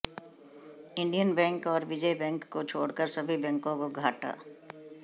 Indian bank और Vijaya bank को छोड़कर सभी बैंकों को घाटा